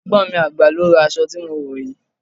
Ẹ̀gbọ́n mi àgbà ló ra aṣọ tí mo wò yìí.